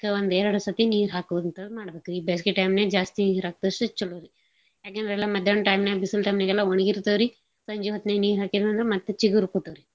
ದಿನಕ್ಕ ಒಂದ್ ಎರ್ಡ್ ಸತಿ ನೀರ್ ಹಾಕ್ವಂತದ್ ಮಾಡ್ಬಕ್ರಿ ಬ್ಯಾಸ್ಗೆ time ನ್ಯಾಗ್ ಜಾಸ್ತಿ ನೀರ್ ಹಾಕ್ದಷ್ಟೂ ಚೊಲೋರಿ. ಯಾಕೆಂದ್ರೆ ಎಲ್ಲಾ ಮದ್ಯಾಣ್ದ್ time ನ್ಯಾಗ್ ಬಿಸಲ್ time ನ್ಯಾಗ್ ಎಲ್ಲಾ ಒಣ್ಗಿರ್ತಾವ್ರಿ ಸಂಜಿ ಹೊತ್ನಾಗ್ ನೀರ್ ಹಾಕೀದ್ರಂದ್ರ ಮತ್ ಚಿಗ್ರ್ಕೋತಾವ್ರಿ.